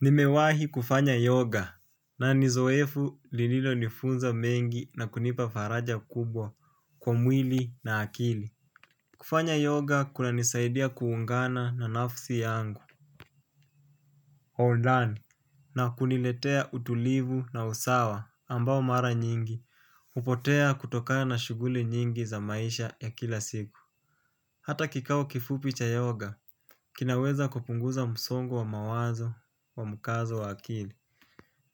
Nimewahi kufanya yoga. Na nizoefu lililo nifunza mengi na kunipa faraja kubwa kwa mwili na akili. Kufanya yoga kuna nisaidia kuungana na nafsi yangu All done. Na kuniletea utulivu na usawa ambao mara nyingi upotea kutokana na shuguli nyingi za maisha ya kila siku. Hata kikao kifupi cha yoga kinaweza kupunguza musongo wa mawazo wa mukazo wa akili.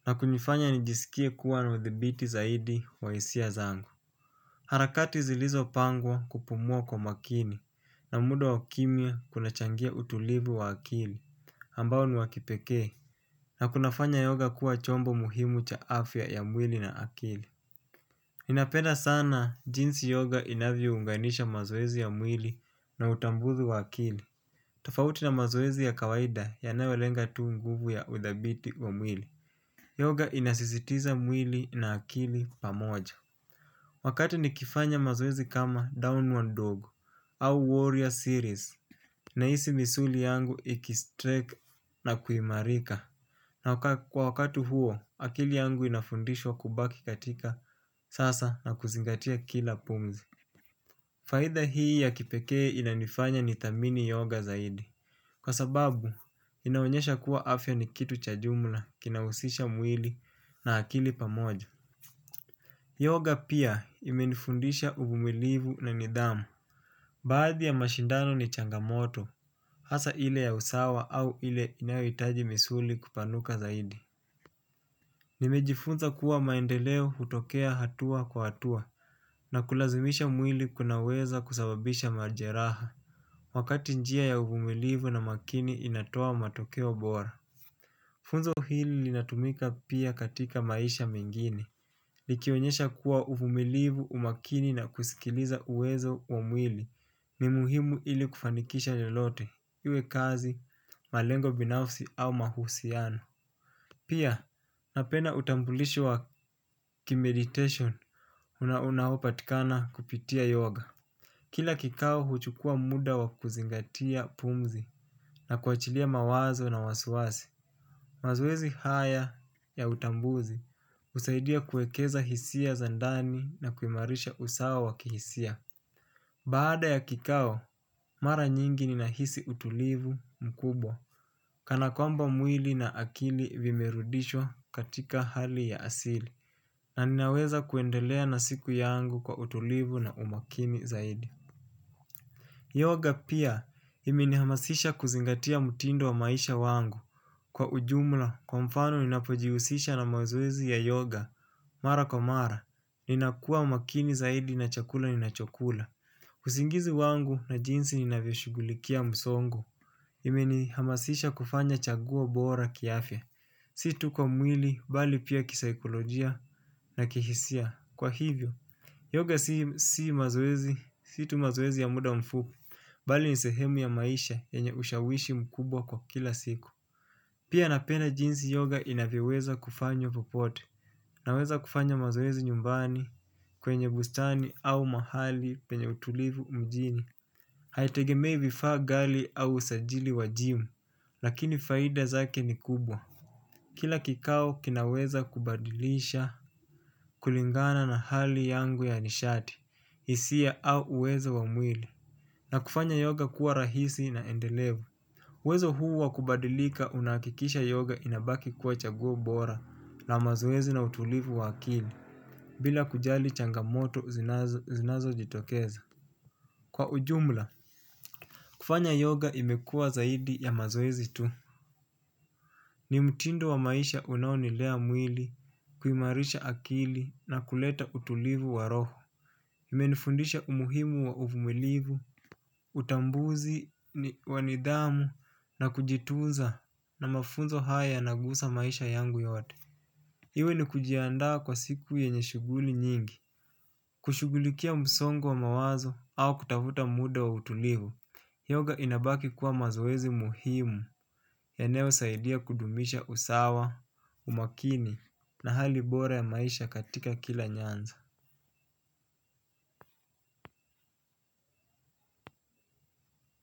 Na kunifanya nijisikie kuwa na uthibiti zaidi wa isia zangu. Harakati zilizo pangwa kupumua kwa makini na muda wa kimia kunachangia utulivu wa akili ambao ni wa kipeke. Na kunafanya yoga kuwa chombo muhimu cha afya ya mwili na akili. Ninapenda sana jinsi yoga inavyo unganisha mazoezi ya mwili na utambuzi wa akili. Tofauti na mazoezi ya kawaida yanayolenga tuu nguvu ya uthibiti wa mwili. Yoga inasisitiza mwili na akili pamoja. Wakati nikifanya mazoezi kama Downward Dog au Warrior Series. Nahisi misuli yangu ikistrike na kuimarika. Na kwa wakati huo, akili yangu inafundishwa kubaki katika sasa na kuzingatia kila pumzi. Faidha hii ya kipekee inanifanya nithamini yoga zaidi. Kwa sababu, inaonyesha kuwa afya ni kitu cha jumla kinausisha mwili na akili pamoja. Yoga pia imenifundisha uvumilivu na nidhamu. Baadhi ya mashindano ni changamoto hasa ile ya usawa au ile inayoitaji misuli kupanuka zaidi. Nimejifunza kuwa maendeleo hutokea hatua kwa hatua. Na kulazimisha mwili kunaweza kusababisha majeraha. Wakati njia ya uvumilivu na makini inatoa matokeo bora. Funzo hili linatumika pia katika maisha mengini, likionyesha kuwa ufumilivu umakini na kusikiliza uwezo wa mwili, ni muhimu ili kufanikisha lolote, iwe kazi, malengo binafsi au mahusiano. Pia, napenda utambulisho wa kimeditation, unaopatikana kupitia yoga. Kila kikao huchukua muda wa kuzingatia pumzi na kuachilia mawazo na wasiwasi. Mazoezi haya ya utambuzi husaidia kuekeza hisia za ndani na kuimarisha usawa wa kihisia. Baada ya kikao, mara nyingi ninahisi utulivu mkubwa. Kana kwamba mwili na akili vimerudishwa katika hali ya asili na ninaweza kuendelea na siku yangu kwa utulivu na umakini zaidi. Yoga pia imenihamasisha kuzingatia mutindo wa maisha wangu. Kwa ujumla, kwa mfano ninapojihusisha na mazoezi ya yoga. Mara kwa mara, ninakua makini zaidi na chakula ninachokula. Usingizi wangu na jinsi ninavyo shugulikia msongo. Imenihamasisha kufanya chaguo bora kiafya. Si tu kwa mwili, bali pia kisaikolojia na kihisia. Kwa hivyo, yoga si mazoezi, si tu mazoezi ya muda mfu. Bali ni sehemu ya maisha yenye ushawishi mkubwa kwa kila siku. Pia napenda jinsi yoga inavyoweza kufanywa popote. Naweza kufanya mazoezi nyumbani kwenye bustani au mahali penye utulivu mjini. Haitegemei vifaa gali au usajili wajimu. Lakini faida zake ni kubwa. Kila kikao kinaweza kubadilisha kulingana na hali yangu ya nishati isia au uwezo wa mwili. Na kufanya yoga kuwa rahisi na endelevu uWezo huu wakubadilika unakikisha yoga inabaki kuwa chaguo bora na mazoezi na utulivu wa akili. Bila kujali changamoto zinazo jitokeza. Kwa ujumla kufanya yoga imekua zaidi ya mazoezi tu. Ni mtindo wa maisha unaonilea mwili kuimarisha akili na kuleta utulivu wa roho. Imenifundisha umuhimu wa uvumilivu. Utambuzi wa nidhamu na kujitunza na mafunzo haya yanagusa maisha yangu yote. Iwe ni kujiandaa kwa siku yenye shuguli nyingi kushugulikia msongo wa mawazo au kutavuta muda wa utulivu yoga inabaki kuwa mazoezi muhimu yanayo saidia kudumisha usawa, umakini na hali bora ya maisha katika kila nyanzo.